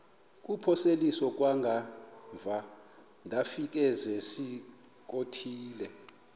kuphosiliso kwangaemva ndafikezizikotile